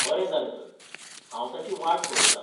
बरें जालें तर, हांव ताची वाट पळयतां.